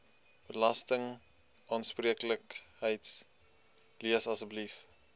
belastingaanspreeklikheid lees asseblief